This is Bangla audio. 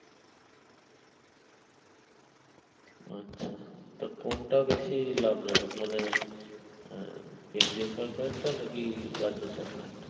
আচ্ছা তা কোনটা বেশি লাভজনক মানে আহ কেন্দ্রীয় সরকারেরটা নাকি রাজ্য সরকারেরটা?